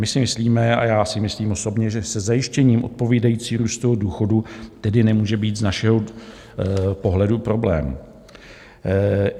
My si myslíme, a já si myslím osobně, že se zajištěním odpovídajícího růstu důchodů tedy nemůže být z našeho pohledu problém.